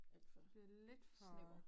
Alt for snæver